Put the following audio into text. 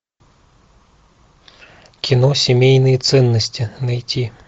кино семейные ценности найти